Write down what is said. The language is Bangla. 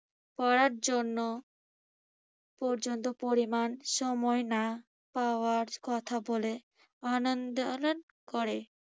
পড়ার জন্য পর্যাপ্ত পরিমাণ সময় না পাওয়ার কোথা বলে আনা~ ন্দোলন করে।